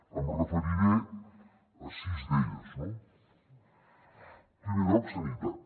em referiré a sis d’elles no en primer lloc sanitat